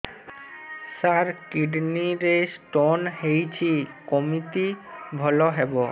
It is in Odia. ସାର କିଡ଼ନୀ ରେ ସ୍ଟୋନ୍ ହେଇଛି କମିତି ଭଲ ହେବ